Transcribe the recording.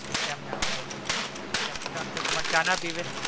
કેમ ના હોઈ કેમ અક્ષયકુમાર ચા ના પીવે